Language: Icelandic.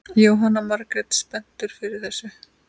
Jóhanna Margrét: Spenntur fyrir þessu?